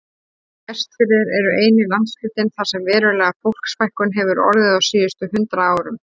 Vestfirðir eru eini landshlutinn þar sem veruleg fólksfækkun hefur orðið á síðustu hundrað árum.